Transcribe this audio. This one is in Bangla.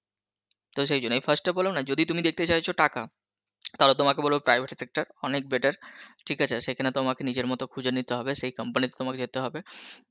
তো সেই জন্য আমি first এ বললাম না যদি তুমি দেখতে চাইছো টাকা, তাহলে তোমাকে বলবো private sector অনেক better ঠিক আছে সেখানে তোমাকে নিজের মত খুঁজে নিতে হবে, সেই company তে তোমাকে যেতে হবে,